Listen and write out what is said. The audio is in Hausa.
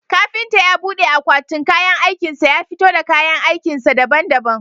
Kafintan ya bude akwatin kayan aikin sa ya fito da kayan aikin sa daban daban